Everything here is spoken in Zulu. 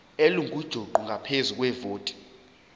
elingujuqu ngaphezu kwevoti